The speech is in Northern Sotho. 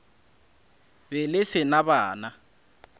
be le se na bana